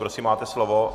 Prosím, máte slovo.